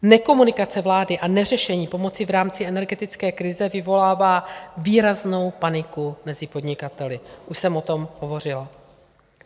Nekomunikace vlády a neřešení pomoci v rámci energetické krize vyvolává výraznou paniku mezi podnikateli, už jsem o tom hovořila.